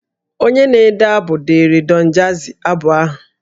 Onye na-ede abụ deere Don jazzy abụ ahụ